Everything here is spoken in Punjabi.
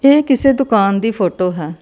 ਇਹ ਕਿਸੇ ਦੁਕਾਨ ਦੀ ਫੋਟੋ ਹੈ।